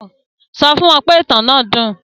Sọ fún wọn pé ìtàn náà dùn